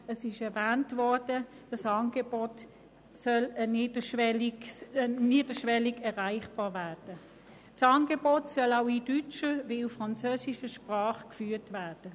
Dieses Angebot soll niederschwellig erreichbar sein, und es soll sowohl in deutscher als auch in französischer Sprache geführt werden.